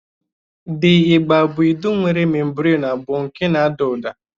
The igba bụ idu nwere memburenu abụọ nke na ada ụda.